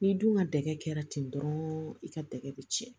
N'i dun ka dɛgɛ kɛra ten dɔrɔn i ka tɛgɛ bɛ tiɲɛ